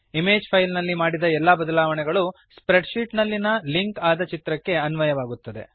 image file ನಲ್ಲಿ ಮಾಡಿದ ಎಲ್ಲಾ ಬದಲಾವಣೆಗಳು ಸ್ಪ್ರೆಡ್ ಶೀಟ್ ನಲ್ಲಿನ ಲಿಂಕ್ ಆದ ಚಿತ್ರಕ್ಕೆ ಅನ್ವಯವಾಗುತ್ತವೆ